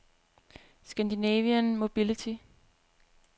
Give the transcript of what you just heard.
Scandinavian Mobility